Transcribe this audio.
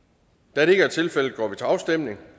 da det ikke er tilfældet går vi til afstemning